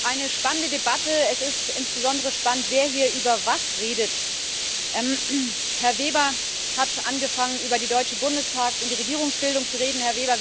Eine spannende Debatte es ist insbesondere spannend, wer hier über was redet. Herr Weber hat angefangen, über den Deutschen Bundestag und die Regierungsbildung zu reden.